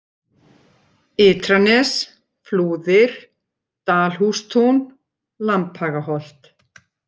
Ytranes, Flúðir, Dalhústún, Lambhagaholt